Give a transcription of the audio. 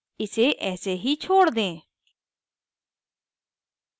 इसे ऐसे ही छोड़ दें